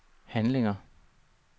handlinger